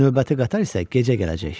Növbəti qatar isə gecə gələcək.